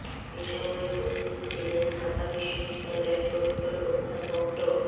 এ সময় উপস্থিত ছিলেন ঢাকা বিশ্ববিদ্যালয়ের প্রক্টর অধ্যাপক ড